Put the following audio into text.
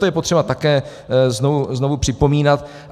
To je potřeba také znovu připomínat.